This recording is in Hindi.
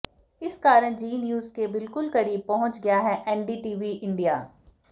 इस कारण जी न्यूज के बिलकुल करीब पहुंच गया है एनडीटीवी इंडिया